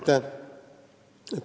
Aitäh!